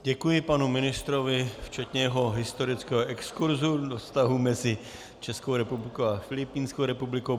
Děkuji panu ministrovi, včetně jeho historického exkurzu do vztahů mezi Českou republikou a Filipínskou republikou.